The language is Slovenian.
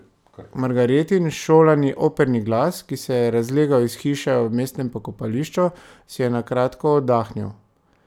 Margaretin šolani operni glas, ki se je razlegal iz hiše ob mestnem pokopališču, si je na kratko oddahnil.